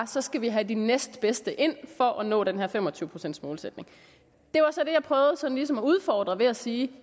så skal vi have de næstbedste ind for at nå den her fem og tyve procents målsætning det var så det jeg prøvede sådan ligesom at udfordre ved at sige